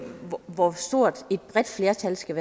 på hvor stort et flertal skal